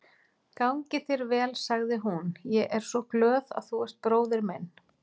Gangi þér vel, sagði hún, ég er svo glöð að þú ert bróðir minn.